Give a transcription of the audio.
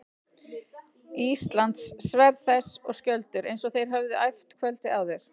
Íslands, sverð þess og skjöldur, eins og þeir höfðu æft kvöldið áður.